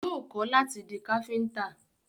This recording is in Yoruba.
Yóò kọ́ láti di Káfíntà